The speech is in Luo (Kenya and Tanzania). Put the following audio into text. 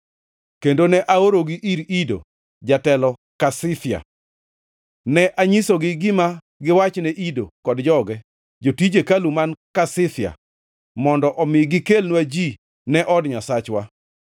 kendo ne aorogi ir Ido, jatelo Kasifia. Ne anyisogi gima giwachne Ido kod joge, jotij hekalu man Kasifia, mondo omi gikelnwa ji ne od Nyasachwa.